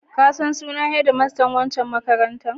Ka san sunan hedmastan waccan makarantar?